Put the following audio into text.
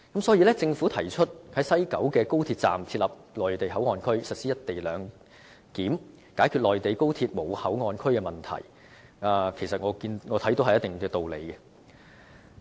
因此，政府提出在西九高鐵站設立內地口岸區，實施"一地兩檢"，解決內地高鐵站沒有口岸區的問題，我看有一定道理。